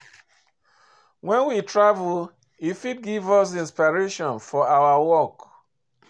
When we travel, e fit give us inspiration for our work